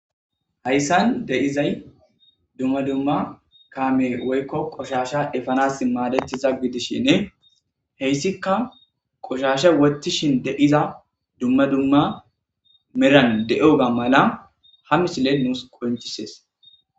hayssan de'izay dumma dumma kaame woykko qoshasha efanas maadetiza gidishinne heyssikka qoshasha wottishin de'iza dumma dumma meran de'oga mala ha misiley nuus qoncisees.